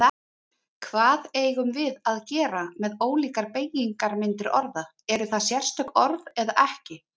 Hvað eigum við að gera með ólíkar beygingarmyndir orða, eru það sérstök orð eða ekki?